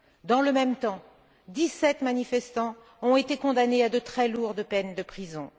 Dans le même temps, dix sept manifestants ont été condamnés à de très lourdes peines de prison.